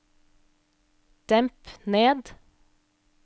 demp ned